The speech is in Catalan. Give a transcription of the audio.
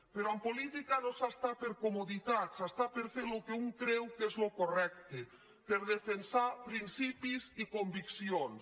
però en política no s’hi està per comoditat s’hi està per fer el que un creu que és el correcte per defensar principis i conviccions